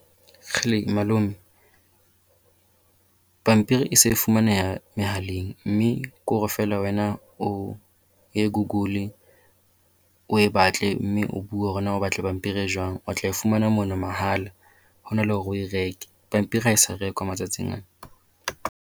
Kgele! Malome, pampiri e se e fumaneha mehaleng mme ke hore feela wena o ye Google. O e batle mme o bua hore na o batla pampiri e jwang. O tla e fumana moo mahala, ho na le hore o e reke. Pampiri ha e sa rekwa matsatsing ana.